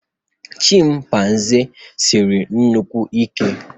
Chịmpaizịn Siri nnukwu Ike